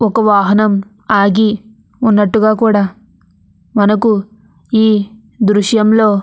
ఒక వాహనం ఆగి ఉన్నట్టుగా కూడా మనకు ఈ దృశ్యంలో --